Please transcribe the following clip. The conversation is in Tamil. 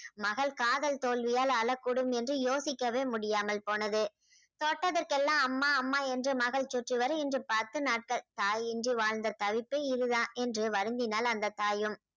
மகள் காதல் தோல்வியால் அழக்கூடும் என்று யோசிக்கவே முடியாமல் போனது தொட்டதற்கெல்லாம் அம்மா அம்மா என்று மகள் சுற்றிவர இன்று பத்து நாட்கள் தாயின்றி வாழ்ந்த தவிப்பு இதுதான் என்று வருந்தினாள் அந்த தாயும்